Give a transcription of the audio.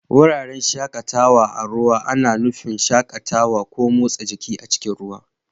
Wuraren shakatawa a ruwa ana nufin shakatawa ko motsa jiki a cikin ruwa.